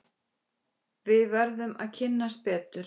Við verðum að kynnast betur.